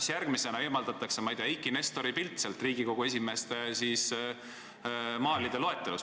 Kas järgmisena eemaldatakse, ma ei tea, Eiki Nestori pilt Riigikogu esimeeste portreede seast?